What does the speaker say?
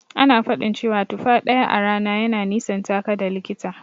Ana faɗin cewa tufa ɗaya a rana yana nisantaka da likita.